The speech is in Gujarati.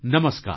નમસ્કાર